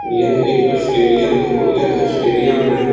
यह एक अस्टेडियम है और यह अस्टेडियम में --